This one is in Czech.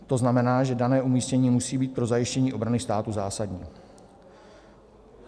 To znamená, že dané umístění musí být pro zajištění obrany státu zásadní.